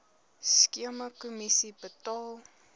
skema kommissie betaal